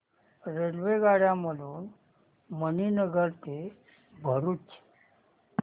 रेल्वेगाड्यां मधून मणीनगर ते भरुच